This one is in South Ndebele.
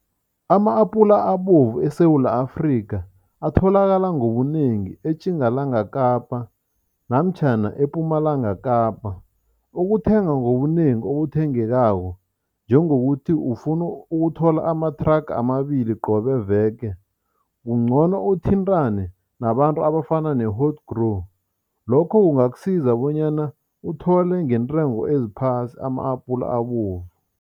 Ama-apula abovu eSewula Afrika atholakala ngobunengi eTjingalanga Kapa namtjhana ePumalanga Kapa. Ukuthenga ngobunengi okuthengekangako njengokuthi ufuna ukuthola amathraga amabili qobe veke, kungcono uthintane nabantu abafana lokho kungakusiza bonyana uthole ngentengo eziphasi ama-apula abovu.